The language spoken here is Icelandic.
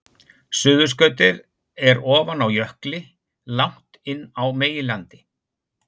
Suðurskautið er ofan á jökli langt inni á meginlandi.